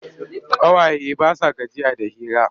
Ƙawaye ba sa gajiya da hira.